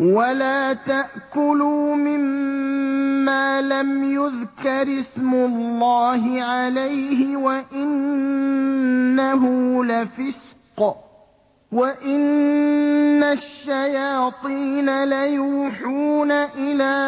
وَلَا تَأْكُلُوا مِمَّا لَمْ يُذْكَرِ اسْمُ اللَّهِ عَلَيْهِ وَإِنَّهُ لَفِسْقٌ ۗ وَإِنَّ الشَّيَاطِينَ لَيُوحُونَ إِلَىٰ